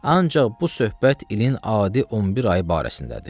Ancaq bu söhbət ilin adi 11 ayı barəsindədir.